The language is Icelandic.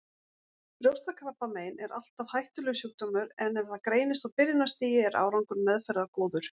Brjóstakrabbamein er alltaf hættulegur sjúkdómur en ef það greinist á byrjunarstigi er árangur meðferðar góður.